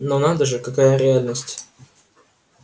но надо же какая реальность